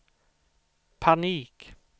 panik